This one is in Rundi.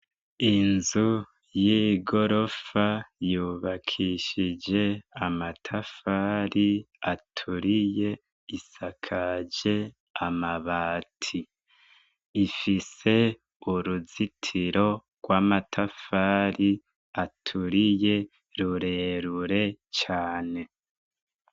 Inzu y'igorofa yubakishije amatafari aturiye, isakaje amabati, ifise uruzitiro rw'amatafari aturiye rurerure cane.